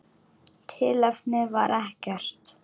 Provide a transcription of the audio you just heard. Tilefni var ekkert.